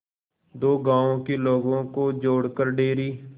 दो गांवों के लोगों को जोड़कर डेयरी